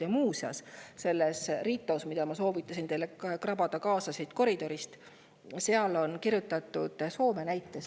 Ja muuseas, selles RiTos, mille ma soovitasin teil koridorist kaasa krabada, on kirjutatud Soome näitest.